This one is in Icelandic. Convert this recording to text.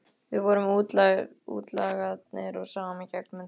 Við vorum útlagarnir og sáum í gegnum þetta allt.